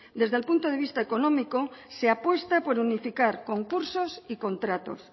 desde el punto de vista económico se apuesta por unificar concursos y contratos